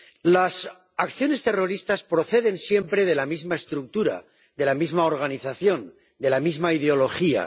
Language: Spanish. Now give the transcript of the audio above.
Las acciones terroristas proceden siempre de la misma estructura, de la misma organización, de la misma ideología.